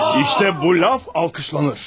İşte, işte bu laf alqışlanır!